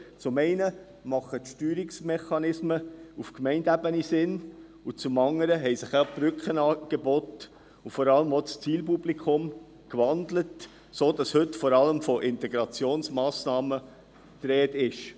Zum einen sind die Steuerungsmechanismen auf Gemeindeebene sinnvoll, zum andern haben sich die Brückenangebote und vor allem auch das Zielpublikum gewandelt, sodass heute vor allem von Integrationsmassnahmen die Rede ist.